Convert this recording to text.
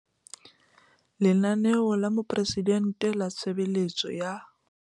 Lenaneo la Moporesidente la Tshebeletso ya